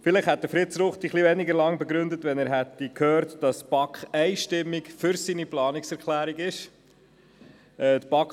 Vielleicht wäre die Begründung von Fritz Ruchti etwas kürzer ausgefallen, wenn er gewusst hätte, dass die BaK einstimmig für seine Planungserklärung gestimmt hat.